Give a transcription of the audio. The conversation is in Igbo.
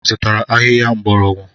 Ị zụtara ahịhịa mgbọrọgwụ?